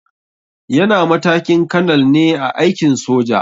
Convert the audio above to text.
Yana matakin kanal ne a aikin soja.